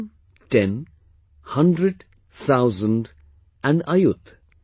One, ten, hundred, thousand and ayut